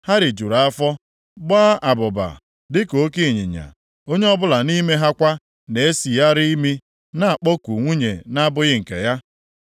Ha rijuru afọ, gbaa abụba dị ka oke ịnyịnya. Onye ọbụla nʼime ha kwa na-esigharị imi na-akpọku nwunye na-abụghị nke ya.